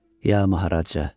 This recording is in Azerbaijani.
Ya Maharaja.